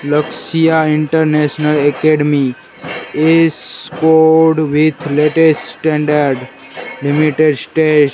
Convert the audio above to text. लक्ष्य international academy इस code with latest standard limited --